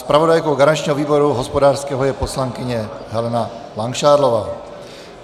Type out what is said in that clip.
Zpravodajkou garančního výboru hospodářského je poslankyně Helena Langšádlová.